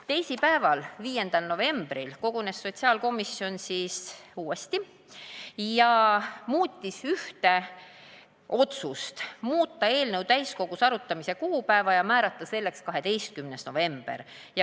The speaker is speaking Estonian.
Teisipäeval, 5. novembril kogunes sotsiaalkomisjon uuesti ja muutis ühte otsust, otsustati muuta eelnõu täiskogus arutamise kuupäeva ja määrata selleks 12. november.